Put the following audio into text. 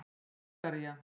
Búlgaría